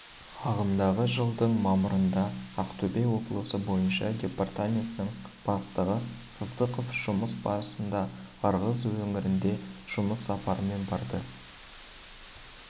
ағымдағы жылдың мамырында ақтөбе облысы бойынша департаменттің бастығы сыздықов жұмыс барысында ырғыз өңіріне жұмыс сапарымен барды